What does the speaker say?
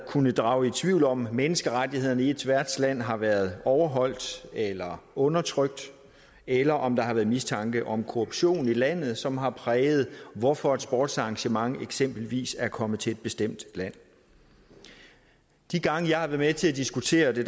kunnet drage i tvivl om menneskerettighederne i et værtsland har været overholdt eller undertrykt eller om der har været mistanke om korruption i landet som har præget beslutningen hvorfor et sportsarrangement eksempelvis er kommet til det bestemte land de gange jeg har været med til at diskutere det